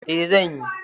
E, zan yi.